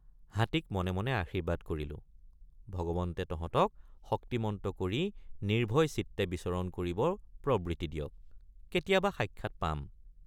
হাতীক মনে মনে আশীৰ্বাদ কৰিলো— ভগবন্তে তহঁতক শক্তিমন্ত কৰি নিৰ্ভয়চিত্তে বিচৰণ কৰিবৰ প্ৰবৃত্তি দিয়ক—কেতিয়াবা সাক্ষাৎ পাম।